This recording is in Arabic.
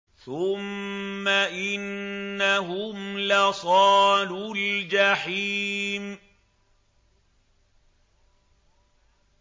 ثُمَّ إِنَّهُمْ لَصَالُو الْجَحِيمِ